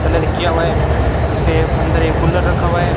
Colour किया हुआ है। इसके अंदर एक कुलर रखा हुआ है।